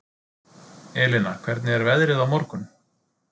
Elina, hvernig er veðrið á morgun?